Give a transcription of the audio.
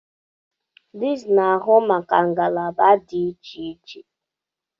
Deans na-ahụ maka ngalaba dị iche iche